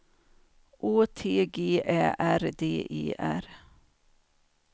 Å T G Ä R D E R